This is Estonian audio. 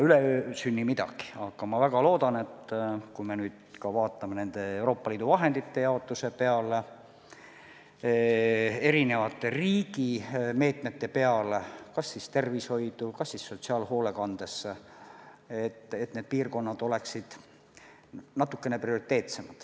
Üleöö ei sünni midagi, aga ma väga loodan, et kui me nüüd vaatame nende Euroopa Liidu vahendite jaotuse peale, erinevate riigi meetmete peale, mis peavad silmas näiteks tervishoidu ja sotsiaalhoolekannet, siis maapiirkonnad on natukene prioriteetsemad.